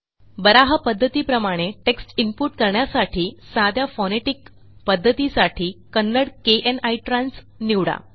बारहा पध्दतीप्रमाणे text input करण्यासाठी साध्या फोनेटिक पध्दतीसाठी कन्नडा kn इत्रांस निवडा